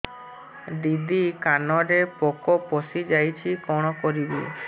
ଦିଦି କାନରେ ପୋକ ପଶିଯାଇଛି କଣ କରିଵି